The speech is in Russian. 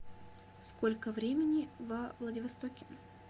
сколько времени во владивостоке